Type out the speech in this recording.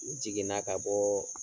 U jiginna ka bɔɔɔ.